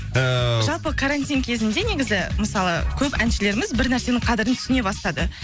ыыы жалпы карантин кезінде негізі мысалы көп әншілеріміз бір нәрсенің қадірін түсіне бастады